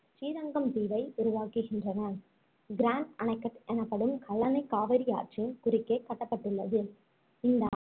ஸ்ரீரங்கம் தீவை உருவாக்குகின்றது grand anaicut எனப்படும் கல்லணையைக் காவிரி ஆற்றின் குறுக்கே கட்டப்பட்டுள்ளது இந்த